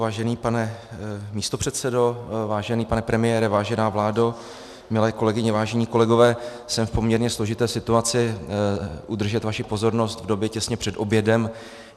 Vážený pane místopředsedo, vážený pane premiére, vážená vládo, milé kolegyně, vážení kolegové, jsem v poměrně složité situaci udržet vaši pozornost v době těsně před obědem.